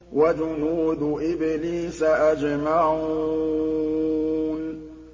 وَجُنُودُ إِبْلِيسَ أَجْمَعُونَ